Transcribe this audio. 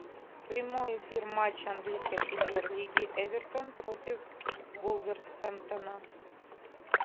прямой эфир матча английской премьер лиги эвертон против вулверхэмптона